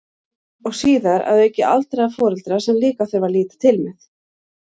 Og síðar að auki aldraða foreldra sem líka þurfti að líta til með.